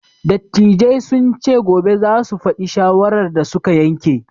Dattijai sun ce gobe za su faɗi shawarar da su ka yanke.